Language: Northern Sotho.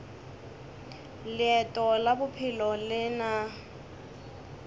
leeto la bophelo le na